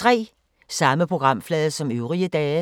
Samme programflade som øvrige dage